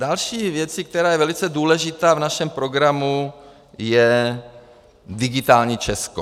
Další věcí, která je velice důležitá v našem programu, je digitální Česko.